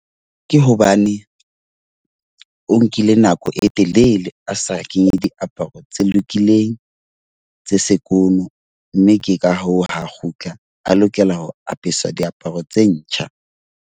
Ke hobane o nkile nako e telele a sa kenye diaparo tse lokileng, tse sekono. Mme ke ka hoo ha kgutla a lokela ho apeswa diaparo tse ntjha.